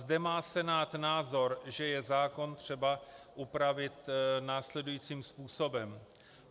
Zde má Senát názor, že je zákon třeba upravit následujícím způsobem.